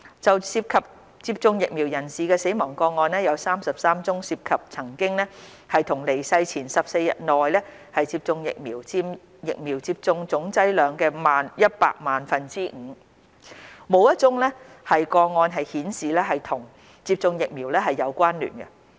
就涉及接種疫苗人士的死亡個案，有33宗涉及曾經於離世前14日內接種疫苗，佔疫苗接種總劑量的百萬分之五，沒有一宗個案顯示與接種疫苗有關聯。